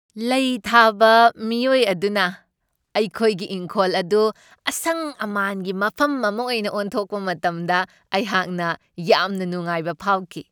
ꯂꯩ ꯊꯥꯕ ꯃꯤꯑꯣꯏ ꯑꯗꯨꯅ ꯑꯩꯈꯣꯏꯒꯤ ꯏꯪꯈꯣꯜ ꯑꯗꯨ ꯑꯁꯪ ꯑꯃꯥꯟꯒꯤ ꯃꯐꯝ ꯑꯃ ꯑꯣꯏꯅ ꯑꯣꯟꯊꯣꯛꯄ ꯃꯇꯝꯗ ꯑꯩꯍꯥꯛꯅ ꯌꯥꯝꯅ ꯅꯨꯡꯉꯥꯏꯕ ꯐꯥꯎꯈꯤ ꯫